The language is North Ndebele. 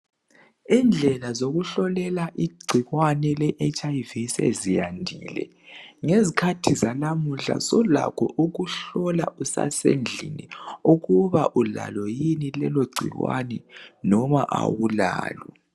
Indlela zokuhlolela igcikwane le HIV seziyandile ngezikhathi zalamuhla sulakho ukuhlola usasendlini ukuba ulalo yini lelo gcikwane loba awulalo.